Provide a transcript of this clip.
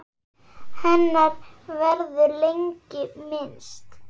Hennar verður lengi minnst.